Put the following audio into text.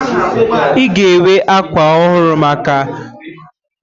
Ị ga-enwe ákwà ọhụrụ maka ọrịre na Fraịde?